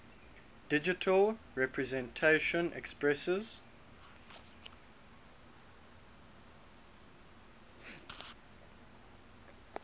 digital representation expresses